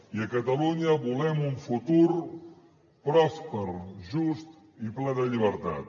i a catalunya volem un futur pròsper just i ple de llibertat